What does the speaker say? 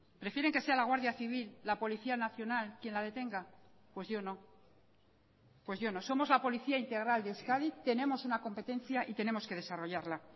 prefieren que sea la guardia civil la policía nacional quien la detenga pues yo no pues yo no somos la policía integral de euskadi tenemos una competencia y tenemos que desarrollarla